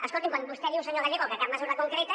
escolti’m quan vostè diu senyor gallego que cap mesura concreta